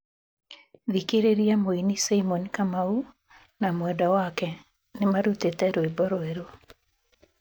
Thikĩrĩria, Mũini Simon Kamau na mwendwa wake nĩmarutĩte rwĩmbo rwerũ